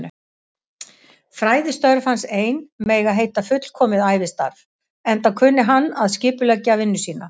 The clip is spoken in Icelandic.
Fræðistörf hans ein mega heita fullkomið ævistarf, enda kunni hann að skipuleggja vinnu sína.